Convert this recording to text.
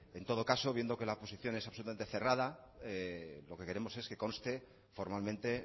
en todo caso viendo que la acusación es absolutamente cerrada lo que queremos es que conste formalmente